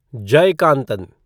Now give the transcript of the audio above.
Jayakanthan